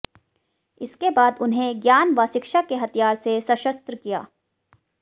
इसके बाद उन्हें ज्ञान व शिक्षा के हथियार से सशस्त्र किया